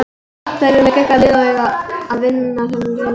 Þær eru með geggjað lið og eiga að vinna þennan riðil.